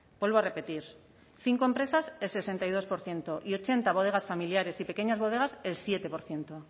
vuelvo a repetir cinco empresas el sesenta y dos por ciento y ochenta bodegas familiares y pequeñas bodegas el siete por ciento